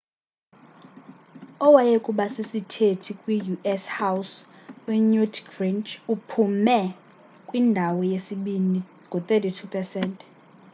owayekubasisithethi kwi-u.s house unewt gingrich uphume kwindawo yesibini ngo-32 pesenti